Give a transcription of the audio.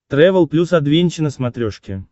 трэвел плюс адвенча на смотрешке